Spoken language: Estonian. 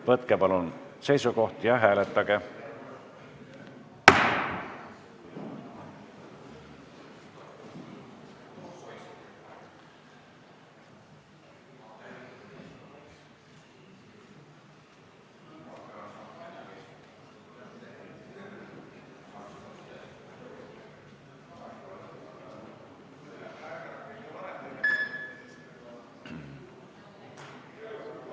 Võtke palun seisukoht ja hääletage!